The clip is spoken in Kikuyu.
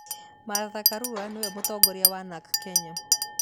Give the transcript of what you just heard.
Martha Karua nĩwe mũtongoria wa Narc Kenya